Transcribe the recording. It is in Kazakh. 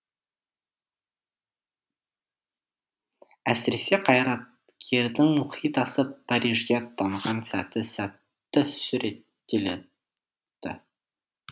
әсіресе қайраткердің мұхит асып парижге аттанған сәті сәтті суреттелді